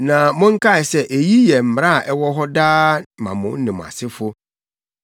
“Na monkae sɛ eyi yɛ mmara a ɛwɔ hɔ daa ma mo ne mo asefo.